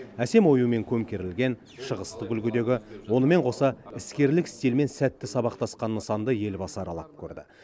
әсем оюмен көмкерілген шығыстық үлгідегі онымен қоса іскерлік стильмен сәтті сабақтасқан нысанды елбасы аралап көрді